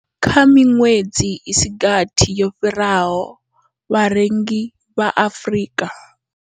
Kha miṅwedzi i si gathi yo fhiraho, vharengi vha Afrika.